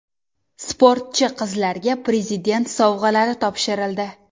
Sportchi qizlarga Prezident sovg‘alari topshirildi.